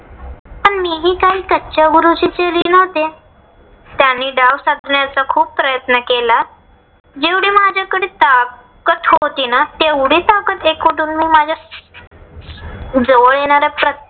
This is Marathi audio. काय कच्च्या गुरूची चेली नव्हते. त्यांनी डाव साधण्याचा खूप प्रयत्न केला. जेवढी माझ्याकडे ताकत होती ना. तेवढी ताकत एकवटून मी माझ्या जवळ येणाऱ्या